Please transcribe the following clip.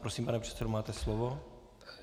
Prosím, pane předsedo, máte slovo.